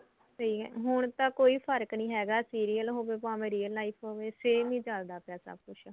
ਸਹੀ ਐ ਹੁਣ ਤਾਂ ਕੋਈ ਫਰਕ ਨੀ ਹੈਗਾ serial ਹੋਵੇ ਭਾਵੇ real life ਹੋਵੇ same ਈ ਚੱਲਦਾ ਪਿਆ ਸਭ ਕੁੱਛ